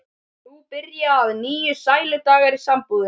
Nú byrja að nýju sæludagar í sambúðinni.